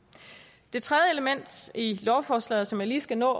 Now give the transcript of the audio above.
det tredje element i lovforslaget som jeg lige skal nå